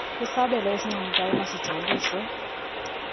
isabelo esincomekayo emasijoliswe